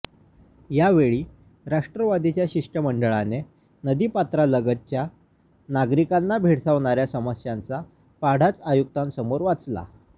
यावेळी राष्ट्रवादीच्या शिष्टमंडळाने नदीपात्रालगतच्या नागरिकांना भेडसावणाऱ्या समस्यांचा पाढाच आयुक्तांसमोर वाचला